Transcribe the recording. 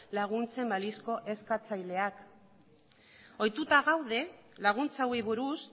laguntzen balizko eskatzaileak ohituta gaude laguntza hauei buruz